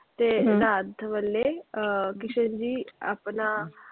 ਤੇ ਰਾਤ ਵੇਲੇ ਅਹ ਕ੍ਰਿਸ਼ਨ ਜੀ ਆਪਣਾ,